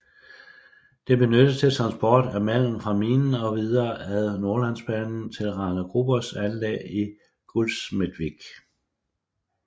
Det benyttes til transport af malm fra minen og videre ad Nordlandsbanen til Rana Grubers anlæg i Gullsmedvik